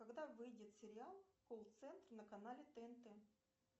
когда выйдет сериал колл центр на канале тнт